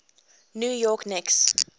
new york knicks